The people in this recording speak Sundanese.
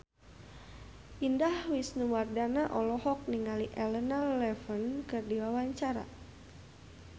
Indah Wisnuwardana olohok ningali Elena Levon keur diwawancara